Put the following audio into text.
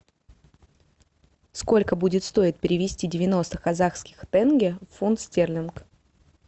сколько будет стоить перевести девяносто казахских тенге в фунт стерлинг